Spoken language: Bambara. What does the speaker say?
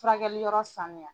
Furakɛli yɔrɔ sanuya